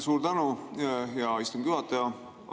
Suur tänu, hea istungi juhataja!